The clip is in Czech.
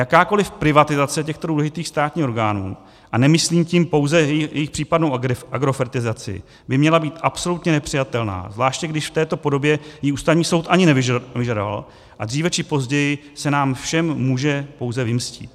Jakákoliv privatizace těchto důležitých státních orgánů, a nemyslím tím pouze jejich případnou agrofertizaci, by měla být absolutně nepřijatelná, zvláště když v této podobě ji Ústavní soud ani nevyžadoval, a dříve či později se nám všem může pouze vymstít.